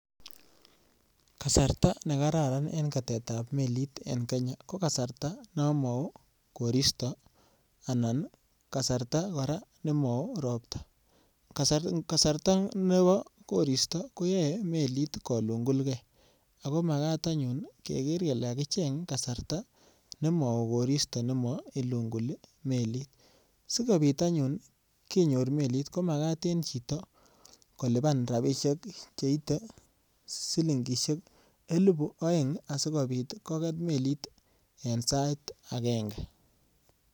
Kasarta ne kararan en ketetab melit en Kenya ko kasarta nomao koristo anan kasarta kora nemao ropts. Kasarta nebo koristo koyae melit kolungulge ago magat anyun keger kele kakicheng kasarta nemao koristo nemailunguli melit. Sigopit anyun kenyor melit ko magat en chito koluban rapisiek cheite silingisiek elibu aeng asigopit koget melit en sait agenge.